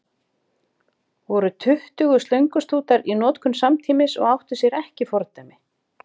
Voru tuttugu slöngustútar í notkun samtímis og átti sér ekki fordæmi.